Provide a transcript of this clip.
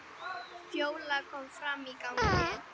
Fjóla kom fram í gang.